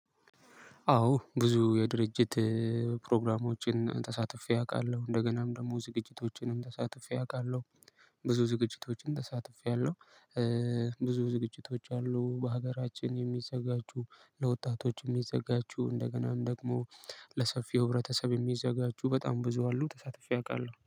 አዎ ብዙ የድርጅት ፕሮግራሞችን ተሳትፌ አውቃለሁ እንደገናም ደግሞ ዝቅጅቶችንም ተሳትፌ አውቃለሁ ብዙ ዝግጅቶችንም ተሳትፌአለሁ። ብዙ ዝግጅቶች አሉ በሀገራችን የሚዘጋጁ ለወጣቶች የሚዘጋጁ እንደገናም ደግሞ ለሰፊው ህብረተሰብ የሚዘጋጁ በጣም ብዙ አሉ ተሳትፌ አውቃለሁ።